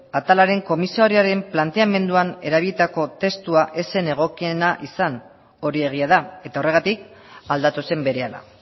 atalaren komisarioaren planteamenduan erabilitako testua ez zen egokiena izan hori egia da eta horregatik aldatu zen berehala